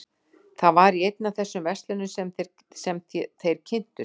Það var í einni af þessum verslunum sem þeir kynntust frú